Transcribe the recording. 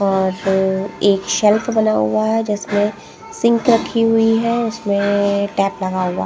और एक सेल्व बना हुआ हैं जिसमें सिंक रखी हुई हैं उसमें टैप लगा हुआ हैं ।